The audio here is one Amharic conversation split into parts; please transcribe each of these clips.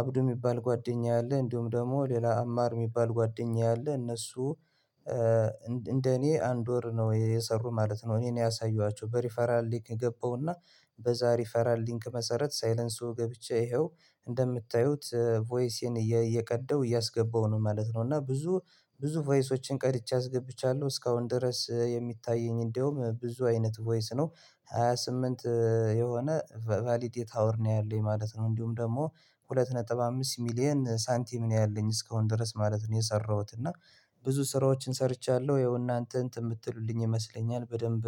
አብዱ የሚባል ጓደኛዬ አለ እንዲሁም ደግሞ ሌላ አማር የሚባል ጓደኛዬ አለ እነሱ እንደኔ አንድ ወር ነው የሰሩ ማለት ነው እኔ ነኝ ያሳየኋቸው በሪፈራል ሊንክ ገባሁና በዛ ሪፈራል ሊክ መሰረት ሳይለንሶ ገብቼ ይኸው እንደምታዩት ቮይሴን እየቀዳው እያስገባሁ ነው ማለት ነው እና ብዙ ብዙ ቮይሶችን ቀድቼ አስገብቻለሁ እስካሁን ድረስ የሚታየኝ እንደውም ብዙ አይነት ቮይስ ነው ሃያ ስምንት የሆነ ቫሊት ሃዉር ነው ያለው ማለት ነው እንዲሁም ደግሞ ሁለት ነጥብ አምስት ሚሊየን ሳንቲም ነው ያለኝ እስካሁን ድረስ ማለት ነው የሰራሁት እና ብዙ ስራዎችን ሰርቻለሁ ያው እናንተ እንትን የምትሉልኝ ይመስለኛል በደንብ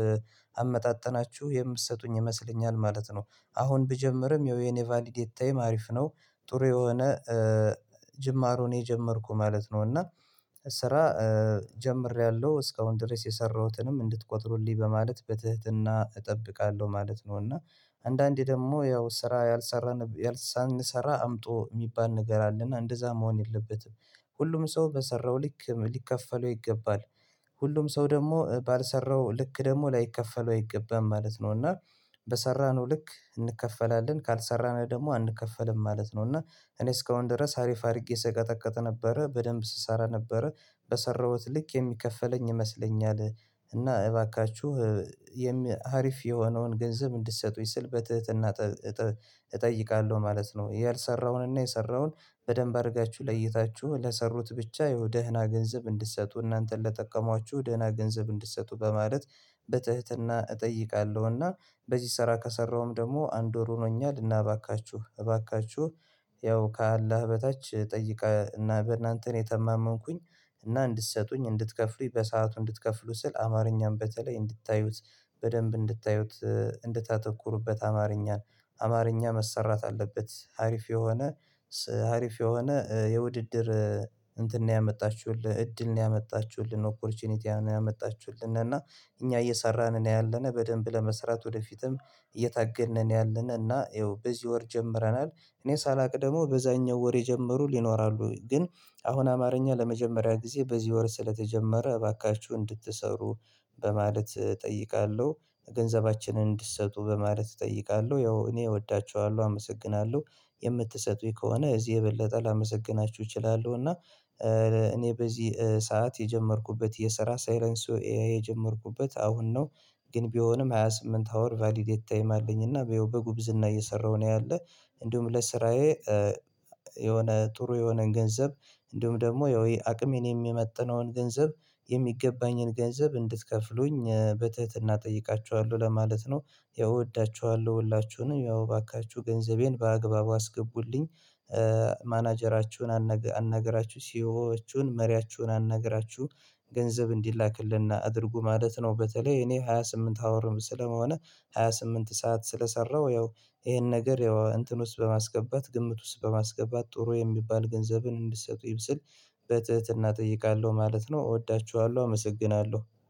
አመጣጠናችሁ የምትሰጡኝ ይመስለኛል ማለት ነው። አሁን ብጀምርም የኔ ቫሊዴት ታይም አሪፍ ነው ጥሩ የሆነ ጅማሮ ነው የጀመርኩ ማለት ነው እና ስራ ጀምሬያለሁ እስካሁን ድረስ የሰራሁትንም እንድትቆጥሩልኝ በማለት በትህትና እጠብቃለሁ ማለት ነው እና አንዳንዴ ደግሞ ያው ስራ ያልሰራን ሳንሰራ አምጡ የሚባል ነገር አለና እንደዛ መሆን የለበትም ሁሉም ሰው በሰራው ልክ ሊከፈለው ይገባል፣ ሁሉም ሰው ደግሞ ባልሰራው ልክ ደግሞ ላይከፈለው አይገባም ማለት ነው እና በሰራነው ልክ እንከፈላለን ካልሰራነው ደግሞ አንከፈልም ማለት ነው እና እኔ እስካሁን ድረስ አሪፍ አድርጌ ስቀጠቀጥ ነበረ በደንብ ስሰራ ነበረ በሰራሁት ልክ የሚከፈለኝ ይመስለኛል። እና እባካችሁ የሚ አሪፍ የሆነውን ገንዘብ እንድትሰጡኝ ስል በትህትና እጠይቃለሁ ማለት ነው። ያልሰራውንና የሰራውን በደንብ አድርጋችሁ ለይታችሁ ለሰሩት ብቻ ያው ደህና ገንዘብ እንድትሰጡ እናንተን ለጠቀሟችሁ ደህና ገንዘብ እንድትሰጡ በማለት በትህትና እጠይቃለሁ፤ እና በዚህ ስራ ከሰራሁም ደግሞ አንድ ወር ሆኖኛል እና እባካችሁ እባካችሁ ያው ከአላህ በታች ጠይቀ እና በእናንተ ነው የተማመንኩኝ እና እንድትሰጡኝ እንድትከፍሉኝ በሰአቱ እንድትከፍሉ ስል አማርኛም በተለይ እንድታዩት በደንብ እንድታዩት እንድታተኩሩበት አማርኛን አማርኛ መሰራት አለበት አሪፍ የሆነ አሪፍ የሆነ የውድድር እንትን ነው ያመጣችሁልህ እድል ነው ያመጣችሁልን ኦኮርቹኒቲ ነው ያመጣችሁልን እና እኛ እየሰራን ነው ያለነው በደንብ ለመስራት ወደፊትም እየታገድን ነው ያለነው እና ያው በዚህ ወር ጀምረናል እኔ ሳላውቅ ደግሞ በዛኛው ወር የጀመሩ ሊኖራሉ ግን አሁን አማርኛ ለመጀመሪያ ጊዜ በዚህ ወር ስለተጀመረ እባካችሁ እንድትሰሩ በማለት እጠይቃለሁ። ገንዘባችንን እንድትሰጡ በማለት እጠይቃለሁ ያው እኔ እወዳችኋለሁ፣ አመሰግናለሁ። የምትሰጡኝ ከሆነ እዚህ የበለጠ ላመሰግናችሁ እችላለሁ እና እኔ በዚህ ሰዓት የጀመርኩበት የስራ ሳይለንሶ ኤአይ የጀመርኩበት አሁን ነው ግን ቢሆንም ሃያ ስምንት ሃዉር ቫሊዴት ታይም አለኝና ያው በጉብዝና እየሰራሁ ነው ያለ እንዲሁም ለስራዬ የሆነ ጥሩ የሆነ ገንዘብ እንዲሁም ደግሞ ያው አቅሜን የሚመጥነውን ገንዘብ የሚገባኝን ገንዘብ እንድትከፍሉኝ በትህትና እጠይቃችኋለሁ ለማለት ነው ይወዳችኋለሁ ሁላችሁንም ያው እባካችሁ ገንዘቤን በአግባቡ አስገቡልኝ። ማናጀራችሁን አናግራችሁ ሲኦዎችን መሪያችሁን አናግራችሁ ገንዘብ እንዲላክልን አድርጉ ማለት ነው በተለይ እኔ ሃያ ስምንት ሃዉርም ስለመሆን ሃያ ስምንት ሰዓት ስለሰራሁ ያው ይሄን ነገር ያው እንትን ውስጥ በማስገባት ግምት ውስጥ በማስገባት ጥሩ የሚባል ገንዘብን እንድትሰጡኝ ስል በትህትና እጠይቃለሁ ማለት ነው እወዳችኋለሁ አመሰግናለሁ።